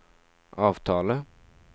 avtale